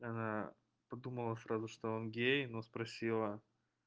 она подумала сразу что он гей но спросила